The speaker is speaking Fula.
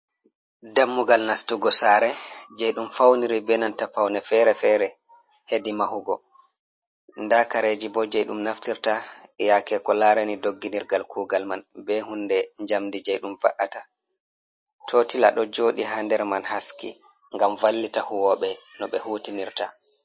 "Dammugal" nastugo sare je ɗum fauniri be nanta paune fere-fere hedi mahugo nda kareji bo je ɗum naftirta yake ko larani dogginirgal kugal man be hunde jamdi je ɗum va’ata totilan ɗo jooɗi ha nder man ɗon haski ngam vallita huwoɓe no ɓe hutinirta.